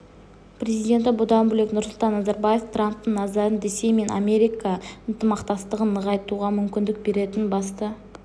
президенті бұдан бөлек нұрсұлтан назарбаев трамптың назарын ресей мен америка ынтымақтастығын нығайтуға мүмкіндік беретін басты